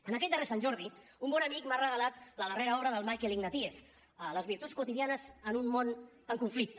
en aquest darrer sant jordi un bon amic m’ha regalat la darrera obra del michael ignatieff les virtuts quotidianes en un món en conflicte